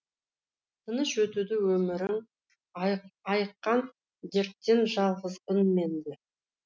тыныш өтуді өмірің айыққан дерттен жалғызбын мен де